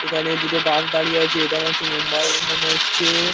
এখানে দুটো বাস দাঁড়িয়ে আছে এটা মনে হচ্ছে মুম্বাই-এর মনে হচ্ছে ।